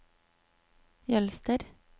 Jølster